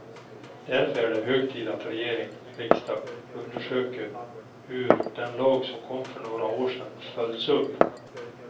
Därför är det hög tid att regering och riksdag undersöker hur den lag som kom för några år sedan följts upp.